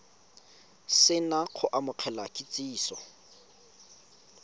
se na go amogela kitsiso